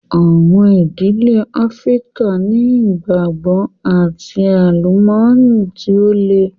Àwọn ìdílé Áfríkà ni ìgbàgbọ́ and àlùmọ́nì tí ó le.